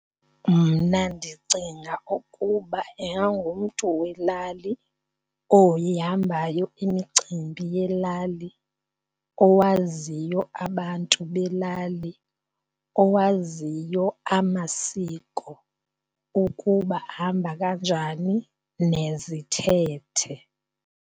Mna ndicinga ukuba ingangumntu welali oyihambayo imicimbi yelali, owaziyo abantu belali, owaziyo amasiko ukuba hamba kanjani nezithethe.